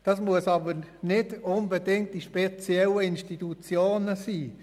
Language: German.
Das muss aber nicht unbedingt in speziellen Institutionen sein.